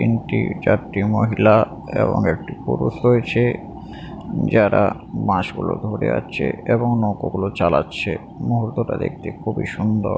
তিনটে চারটি মহিলা এবং একটি পুরুষ রয়েছে যারা বাঁশ গুলো ধরে আছে এবং নৌকো গুলো চালাচ্ছে মুহূর্তটা দেখতে খুবই সুন্দর।